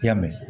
I y'a mɛn